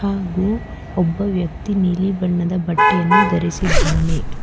ಹಾಗೂ ಒಬ್ಬ ವ್ಯಕ್ತಿ ನೀಲಿ ಬಣ್ಣದ ಬಟ್ಟೆಯನ್ನು ಧರಿಸಿದ್ದಾನೆ.